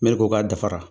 Mɛri ko k'a dafara